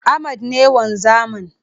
Ahmed ne wanzamin